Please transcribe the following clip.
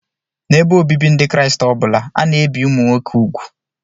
N'ebe obibi Ndị Kraịst ọ bụla, a na-ebi ụmụ nwoke úgwù